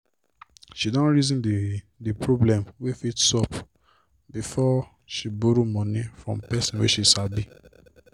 she don reason d d problem wey fit sup before she borrow moni from pesin wey she sabi.